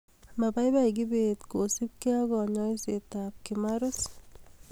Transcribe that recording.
Mapapai kibet kosubkei ak kanyoiset ap kimarus